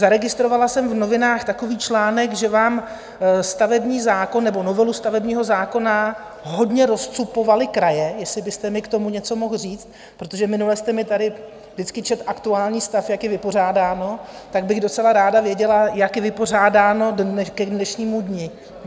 Zaregistrovala jsem v novinách takový článek, že vám stavební zákon, nebo novelu stavebního zákona, hodně rozcupovaly kraje, jestli byste mi k tomu něco mohl říct, protože minule jste mi tady vždycky četl aktuální stav, jak je vypořádáno, tak bych docela ráda věděla, jak je vypořádáno k dnešnímu dni.